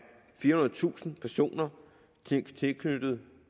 firehundredetusind personer